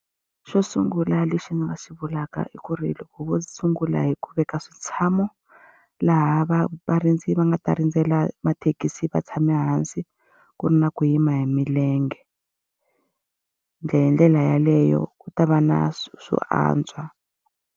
Xo sungula lexi ni nga xi vulaka i ku ri loko vo sungula hi ku veka switshamo laha varindzi va nga ta rindzela mathekisi va tshame hansi, ku ri na ku yima hi milenge. hi ndlela yaleyo ku ta va na swo antswa.